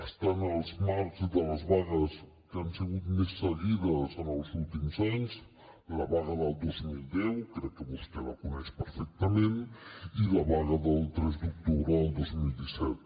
està en els marcs de les vagues que han sigut més seguides en els últims anys la vaga del dos mil deu crec que vostè la coneix perfectament i la vaga del tres d’octubre del dos mil disset